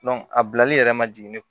a bilali yɛrɛ ma jigin ne